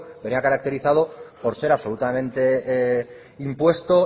venía caracterizado por ser absolutamente impuesto